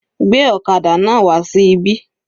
Gbé ọ̀kadà náà wà sí ibí.